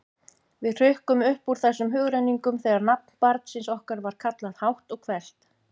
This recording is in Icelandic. Við hrukkum upp úr þessum hugrenningum þegar nafn barnsins okkar var kallað hátt og hvellt.